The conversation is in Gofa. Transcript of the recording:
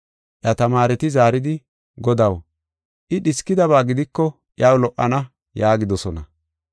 Iya tamaareti zaaridi, “Godaw, I dhiskidaba gidiko iyaw lo77ana” yaagidosona.